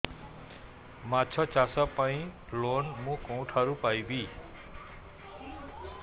ମାଛ ଚାଷ ପାଇଁ ଲୋନ୍ ମୁଁ କେଉଁଠାରୁ ପାଇପାରିବି